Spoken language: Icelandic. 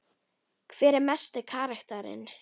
Hver er mesti karakterinn?